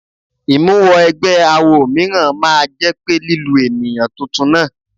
Ìmúwọ ẹgbẹ́ awọ mìíràn máa jẹ́ pé lílu ènìyàn tuntun náà.